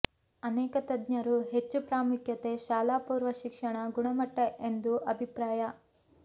ಅನೇಕ ತಜ್ಞರು ಹೆಚ್ಚು ಪ್ರಾಮುಖ್ಯತೆ ಶಾಲಾಪೂರ್ವ ಶಿಕ್ಷಣ ಗುಣಮಟ್ಟ ಎಂದು ಅಭಿಪ್ರಾಯ